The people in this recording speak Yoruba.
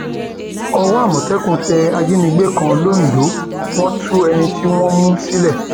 owó àmọtẹkùn tẹ ajínigbé kan lọdọ wọn tu ẹni tí wọn mú sílẹ